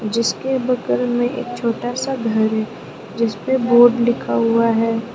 जिसके बगल में एक छोटा सा घर है जिसमें बोर्ड लिखा हुआ है।